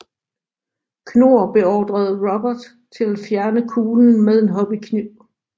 Knorr beordrede Robert til at fjerne kuglen med en hobbykniv